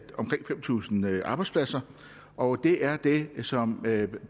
omkring fem tusind arbejdspladser og det er det som